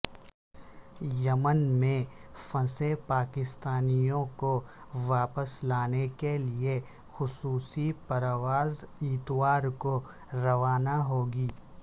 یمن میں پھنسے پاکستانیوں کو واپس لانے کے لیے خصوصی پرواز اتوار کو روانہ ہوگی